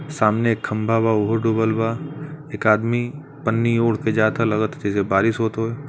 सामने एक खम्भा बा उहो डूबल बा। एक आदमी पन्नी ओढ़ के जाता लगत ह जइसे बारिश होत होय --